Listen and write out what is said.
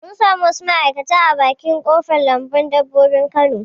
Mun samu wasu ma'aikatan a bakin ƙofar lambun dabbobi na kano